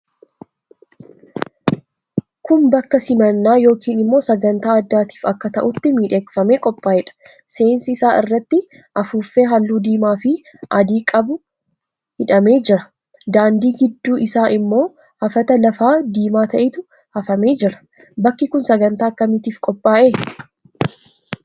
Kun bakka simannaa yookiin immoo sagantaa addaatiif akka ta'utti miidhagfamee qophaa'eedha. Seensi isaa irratti afuuffee halluu diimaafi adii qabu hidhamee jira. Daandii gidduu isaa immoo hafata lafaa diimaa ta'etu hafamee jira. Bakki kun sagantaa akkamiitiif qophaa'e?